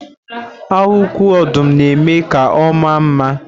Ahụ uku ọdụm na-eme ka ọ maa mma